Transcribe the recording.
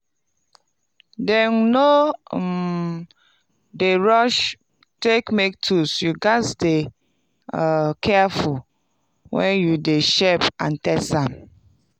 dem no um d rush take make tools you gatz dey um careful wen you de shape and test am.